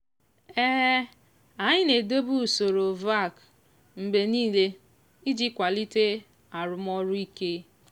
anyị na-edobe usoro hvac mgbe niile iji kwalite arụmọrụ ike.